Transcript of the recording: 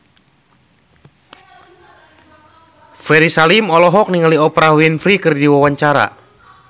Ferry Salim olohok ningali Oprah Winfrey keur diwawancara